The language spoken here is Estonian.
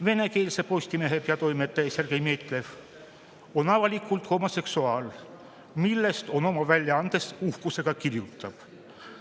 Venekeelse Postimehe peatoimetaja Sergei Metlev on avalikult homoseksuaal, millest ta oma väljaandes uhkusega kirjutab.